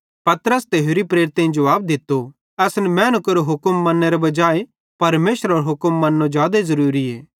पतरस ते होरि प्रेरितेईं जुवाब दित्तो असन मैनू केरो हुक्म मन्नेरे बजाहे परमेशरेरो हुक्म मन्नो जादे ज़रूरीए